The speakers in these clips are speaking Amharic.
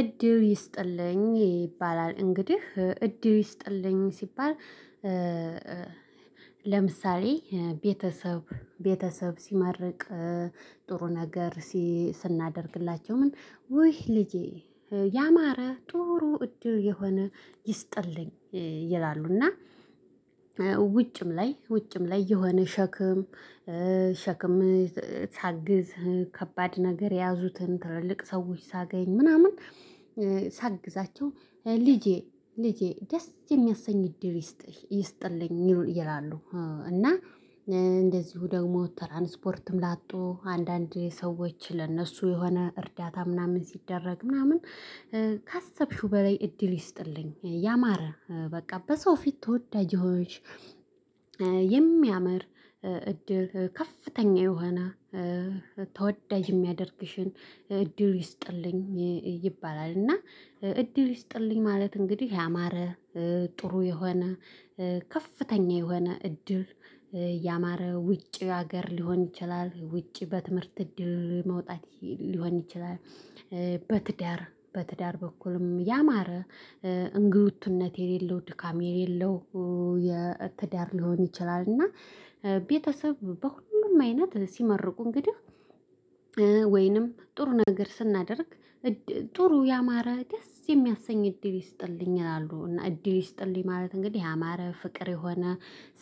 እድል ይስጥልኝ ይባላል እንግዲህ እድል ይስጥልኝ ሲባል። ለምሳሌ ቤተሰብ ቤተሰብ ሲመርቅ ጥሩ ነገር ስናደርግላቸው ምን ውይ ልጄ ያማረ ጥሩ እድል የሆነ ይስጥልኝ። ይላሉ እና ውጭም ላይ ውጭም ላይ የሆነ ሸክም ሸክም ሳግዝ ከባድ ነገር ያዙትን ትልልቅ ሰዎች ሳገኝ ምናምን ሳግዛቸው ልጄ ልጄ ደስ የሚያሰኝ እድል ይስጥልኝ ይላሉ። እና እንደዚሁ ደግሞ ትራንስፖርትም ላጡ አንዳንድ ሰዎች ለእነሱ የሆነ እርዳታ ምናምን ሲደረግ ምናምን። ካሰብሽው በላይ እድል ይስጥልኝ ያማረ በቃ በሰው ፊት ተወዳጅ የሆነሽ። የሚያምር እድል ከፍተኛ የሆነ ተወዳጅ የሚያደርግሽን እድል ይስጥልኝ ይባላል። እና እድል ይስጥልኝ ማለት እንግዲህ ያማረ ጥሩ የሆነ ከፍተኛ የሆነ እድል ያማረ ውጪ ሀገር ሊሆን ይችላል ውጪ በትምህርት እድል መውጣት ሊሆን ይችላል። በትዳር በትዳር በኩልም ያማረ እንግልትነት የሌለው ድካም የሌለው የትዳር ሊሆን ይችላል። እና ቤተሰብ በሁሉም አይነት ሲመርቁ እንግዲህ ወይንም ጥሩ ነገር ስናደርግ። ጥሩ ያማረ ደስ የሚያሰኝ እድል ይስጥልኝ ይላሉ። እና እድል ይስጥልኝ ማለት እንግዲህ ያማረ ፍቅር የሆነ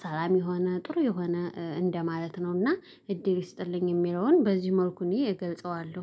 ሰላም የሆነ ጥሩ የሆነ እንደማለት ነውና እድል ይስጥልኝ የሚለውን በዚሁ መልኩ እኔ እገልጸዋለሁ